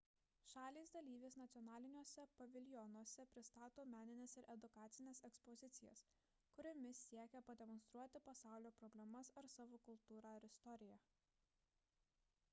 šalys dalyvės nacionaliniuose paviljonuose pristato menines ir edukacines ekspozicijas kuriomis siekia pademonstruoti pasaulio problemas ar savo kultūrą ir istoriją